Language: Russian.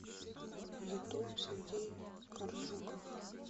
ютуб сергей коржуков